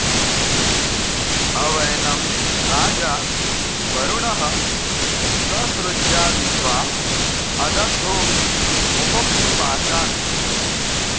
अवै॑नं॒ राजा॒ वरु॑णः ससृज्याद्वि॒द्वाँ अद॑ब्धो॒ वि मु॑मोक्तु॒ पाशा॑न्